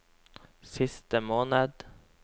siste måned